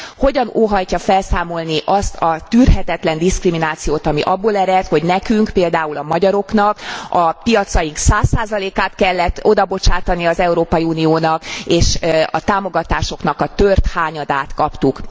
Hogyan óhajtja felszámolni azt a tűrhetetlen diszkriminációt, ami abból ered, hogy nekünk, például a magyaroknak a piacaink 100 át kellett odabocsátani az Európai Uniónak, és a támogatásoknak a tört hányadát kaptuk.